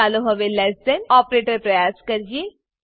ચાલો હવે less than operator પ્રયાસ કરીએ